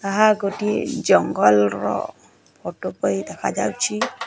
ଏହା ଗୋଟିଏ ଜଙ୍ଗଲର ଫୋଟୋ ପରି ଦେଖାଯାଉଛି।